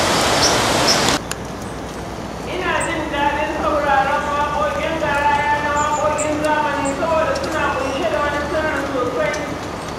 Ina jin daɗin sauraron waƙoƙin garaya na waƙoƙin zamani saboda suna ƙunshe da wani sirri sosai.